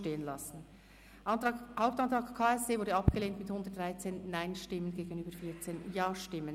Der Hauptantrag KSE Bern wurde abgelehnt mit 113 Nein- gegenüber 14 Ja-Stimmen.